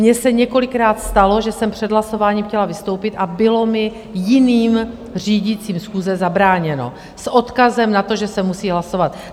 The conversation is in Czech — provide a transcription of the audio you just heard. Mně se několikrát stalo, že jsem před hlasováním chtěla vystoupit, a bylo mi jiným řídícím schůze zabráněno s odkazem na to, že se musí hlasovat.